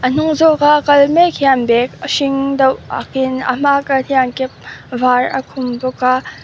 a hnung zawk a kal mek hian bag a hring deuh ak in a hmaa kal hian cap var a khum bawk a.